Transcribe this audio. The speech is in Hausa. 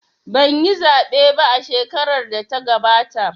Banyi zaɓe ba shekarar da ta gabata